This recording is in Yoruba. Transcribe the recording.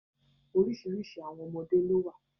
Orísìírísìí àwọn ọmọdé ló wà